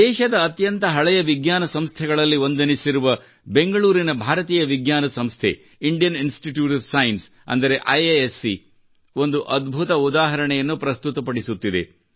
ದೇಶದ ಅತ್ಯಂತ ಹಳೆಯ ವಿಜ್ಞಾನ ಸಂಸ್ಥೆಗಳಲ್ಲಿ ಒಂದೆನಿಸಿರುವ ಬೆಂಗಳೂರಿನ ಭಾರತೀಯ ವಿಜ್ಞಾನ ಸಂಸ್ಥೆ ಇಂಡಿಯನ್ ಇನ್ಸ್ಟಿಟ್ಯೂಟ್ ಒಎಫ್ ಸೈನ್ಸ್ ಎಂದರೆ ಐಐಎಸ್ಸಿ ಒಂದು ಅದ್ಭುತ ಉದಾಹರಣೆಯನ್ನು ಪ್ರಸ್ತುತಪಡಿಸುತ್ತಿದೆ